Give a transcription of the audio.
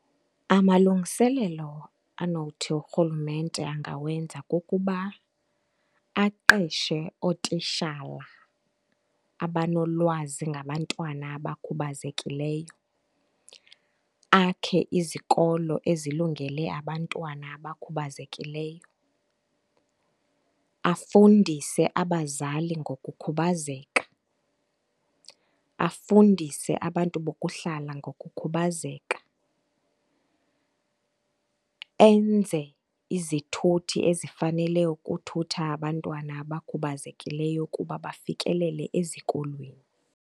Amalungiselelo anothi urhulumente angawenza kukuba aqeshe ootishala abanolwazi ngabantwana abakhubazekileyo, akhe izikolo ezilungele abantwana abakhubazekileyo, afundise abazali ngokukhubazeka, afundise abantu bokuhlala ngokukhubazeka, enze izithuthi ezifanele ukuthutha abantwana abakhubazekileyo kuba bafikelele ezikolweni.